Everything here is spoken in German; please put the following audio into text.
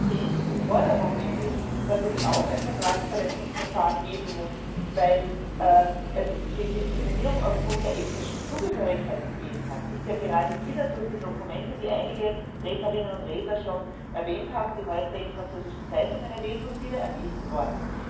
Die Forderung nämlich, dass es auch ein Vertragsverletzungsverfahren geben muss, weil es Diskriminierung aufgrund der ethnischen Zugehörigkeit gegeben hat, ist ja gerade wieder durch die Dokumente, die einige Rednerinnen und Redner schon erwähnt haben und auf die heute in französischen Zeitungen Bezug genommen wurde, wieder untermauert worden.